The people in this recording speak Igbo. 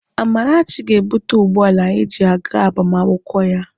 Amarachi ga-ebute ụgbọala anyị ji aga agbamakwụkwọ ya.